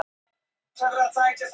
Forsetinn leggur frá sér bréfið.